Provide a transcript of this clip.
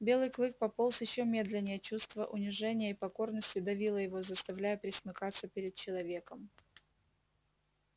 белый клык пополз ещё медленнее чувство унижения и покорности давило его заставляя пресмыкаться перед человеком